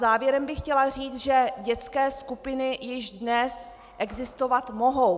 Závěrem bych chtěla říct, že dětské skupiny již dnes existovat mohou.